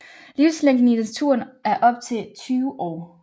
Livslængden i naturen er op til 20 år